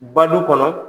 Badu kɔnɔ